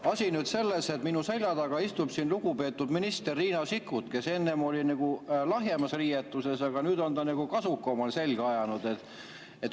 Asi on nüüd selles, et minu selja taga istub siin lugupeetud minister Riina Sikkut, kes enne oli nagu lahjemas riietuses, aga nüüd on ta kasuka omale selga ajanud.